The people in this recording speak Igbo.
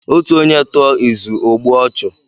Ọtu ọnye tụọ ịzụ ọ gbụe ọchu.